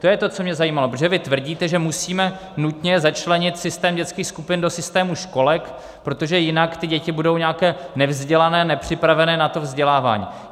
To je to, co mě zajímalo, protože vy tvrdíte, že musíme nutně začlenit systém dětských skupin do systému školek, protože jinak ty děti budou nějaké nevzdělané, nepřipravené na to vzdělávání.